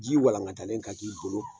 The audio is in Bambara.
Ji walankatalen ka k'i bolo